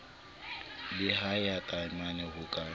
le ya taemane ho ka